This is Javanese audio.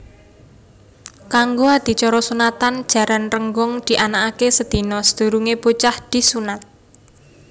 Kanggo adicara sunatan Jaran Rénggong dianakaké sedina sadurungé bocah disunat